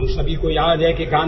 అటల్ జీ యొక్క sound byte